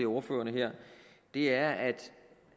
ordførere her er at